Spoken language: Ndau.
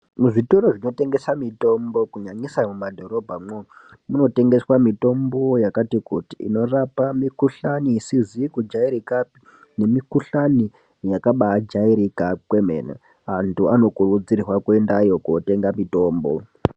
Muzvitoro zvinotengeswa mitombo kunyanyisa mumadhorobhamwo munotengeswa mitombo yakati kuti inorapa mikuhlani isizi kujairikapi nemikuhlani yakaba jairika kwemene antu anokurudzirwa kuendayo kotenga mitombo.